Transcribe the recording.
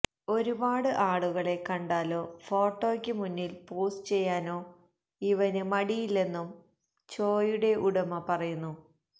ഒരുപാട് ആളുകളെ കണ്ടാലോ ഫോട്ടോയ്ക്ക് മുന്നില് പോസ് ചെയ്യാനോ ഇവന് മടിയില്ലെന്നും ചോയുടെ ഉടമ പറയുന്നു